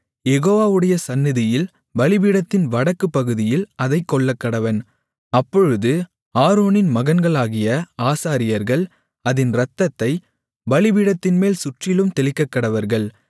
யெகோவாவுடைய சந்நிதியில் பலிபீடத்தின் வடக்குப் பகுதியில் அதைக் கொல்லக்கடவன் அப்பொழுது ஆரோனின் மகன்களாகிய ஆசாரியர்கள் அதின் இரத்தத்தைப் பலிபீடத்தின்மேல் சுற்றிலும் தெளிக்கக்கடவர்கள்